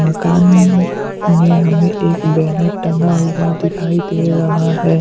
मकान में हमें एक बैनर टंगा हुआ दिखाई दे रहा है।